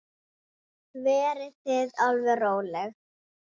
Hann var af engu fólki.